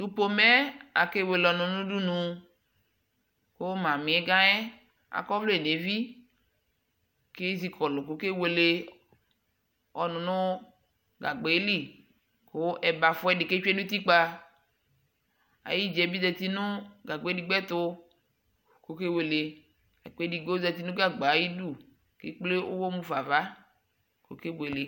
Tʋ fomɛ yɛ akewele ɔnʋ nʋ udunu kʋ mamiga yɛ akɔ ɔvlɛ nʋ evi kʋ ezikɔ kʋ okewele ɔnʋ nʋ gagba yɛ lι kʋ ɛbafa ɛdi kʋ etsue nʋ utikpa Ayʋdza bi zati nʋ gaba edigbo ɛtu kʋ okewelela kʋ edigbo zati nʋ gagba ayʋdu kʋ ekple uwɔ mufa ava kʋ okebuele